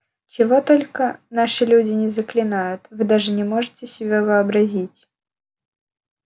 чего только наши люди не заклинают вы даже не можете себе вообразить